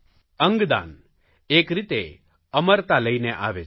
અંગદાન એક રીતે અમરતા લઇને આવે છે